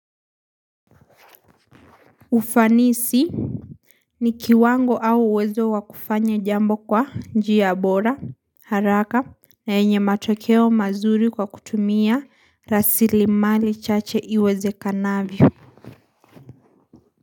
Ufanisi Nikiwango au uwezo wakufanya jambo kwa njia bora haraka na yenye matokeo mazuri kwa kutumia rasili mali chache iweze kanavyo.